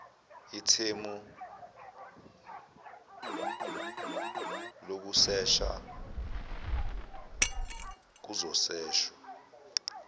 ithemu lokusesha kuzoseshwa